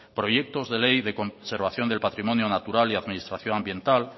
proyectos de ley de conservación del patrimonio natural y administración ambiental